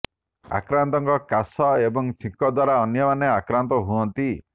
ଆକ୍ରାନ୍ତଙ୍କ କାଶ ଏବଂ ଛିଙ୍କ ଦ୍ୱାରା ଅନ୍ୟମାନେ ଆକ୍ରାନ୍ତ ହୁଅନ୍ତି